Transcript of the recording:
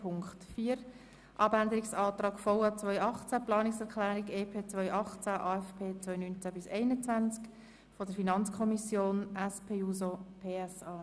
4. Abänderungsantrag VA 2018, EP 2018, AFP 2019–2021 der FiKo-Minderheit und der SP-JUSOPSA.